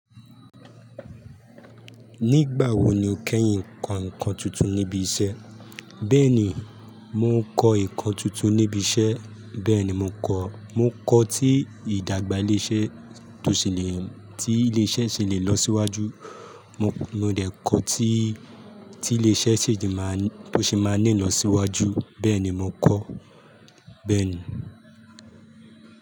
Nígbà wo ni o kẹ́yìn ko nǹkan tuntun níbi iṣẹ́? Bẹ́ẹ̀ni, mò kọ́ nǹkan tuntun níbi iṣẹ́. Bẹ́ẹ̀ni mò ń kọ́, mò ń kọ́ tí ìdàgbà iléṣẹ́ tó ṣe le, tí ilé iṣẹ́ ṣe le lọ síwájú. Mo, mo dẹ̀ kọ́ tí, tí ilé iṣẹ́ ṣe je máa ń, tó ṣe máa nílò síwájú. Bẹ́ẹ̀ni mò ń kọ́. Bẹ́ẹ̀ni.